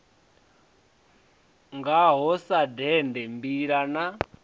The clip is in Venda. ngaho sa dende mbila na